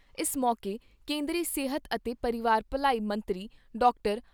ਇਸ ਮੌਕੇ ਕੇਂਦਰੀ ਸਿਹਤ ਅਤੇ ਪਰਿਵਾਰ ਭਲਾਈ ਮੰਤਰੀ ਡਾਕਟਰ